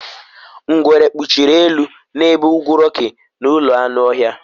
Ngwere kpuchiri elu n'ebe ugwu Rocky na ụlọ anụ ọhịa